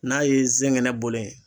N'a ye zɛngɛnɛ bolo inŋ